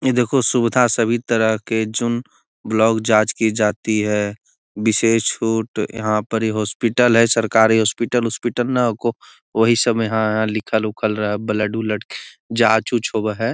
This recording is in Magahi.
यह देखो सुविधा सभी तरह के जांच की जाती है विशेष छूट यहाँ पर ही हॉस्पिटल है सरकारी हॉस्पिटल ऑस्पिटल ना को वही सब इहाँ लिखल उखल ब्लड उलड जांच उंच होवे है।